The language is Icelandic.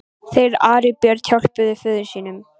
Þeir Ari og Björn hjálpuðu föður sínum.